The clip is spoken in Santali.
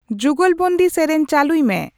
ᱡᱩᱜᱚᱞᱵᱚᱱᱫᱤ ᱥᱮᱨᱮᱧ ᱪᱟᱹᱞᱩᱭ ᱢᱮ